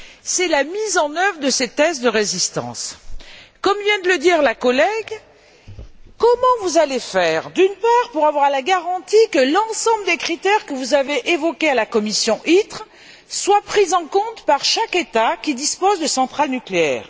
C'est la mise en œuvre de ces tests de résistance. Comme vient de le dire notre collègue, comment allez vous faire, d'une part, pour avoir la garantie que l'ensemble des critères que vous avez évoqués à la commission ITRE soient pris en compte par chaque État, qui dispose de centrales nucléaires?